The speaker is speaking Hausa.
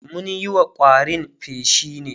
mun Yi wa ƙwarin feshi ne